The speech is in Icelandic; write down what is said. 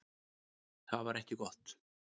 Það var ekki gott.